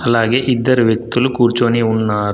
అలాగే ఇద్దరు వ్యక్తులు కూర్చొని ఉన్నారు.